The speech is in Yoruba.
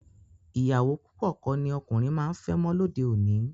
Ìyàwó púpọ̀ kọ́ ni ọkùnrin máa ń fẹ́ mọ́ lóde òní